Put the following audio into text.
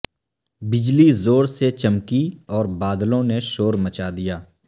بجلی زور سے چمکی اور بادلوں نے شورمچا دیا